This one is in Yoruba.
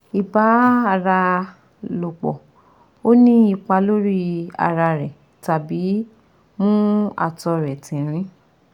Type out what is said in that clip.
Ibani ara lopo o ni ipa lori ara re tabi mu ato re tintin